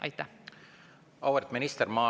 Auväärt minister!